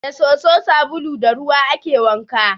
Da soso, sabulu da ruwa ake wanka.